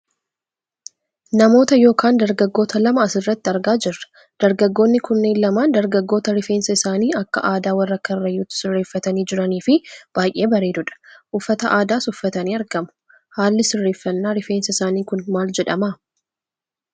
Namoota yookaan dargaggoota lama asirratti argaa jirra. Dargagoonni kunneen lamaan dargaggoota rifeensa isaanii akka aadaa warra karrayyuutti sirreefatanii jiraniifi baayyee bareedudha. Uffata aadaas uffatanii argamu. Haalli sirreeffannaa rifeensa isaanii kun maal jedhama?